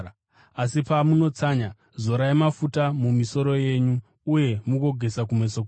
Asi pamunotsanya, zorai mafuta mumisoro yenyu uye mugogeza kumeso kwenyu,